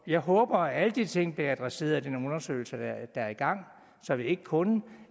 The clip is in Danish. jeg håber at alle de ting bliver adresseret i de undersøgelser der er i gang så det ikke kun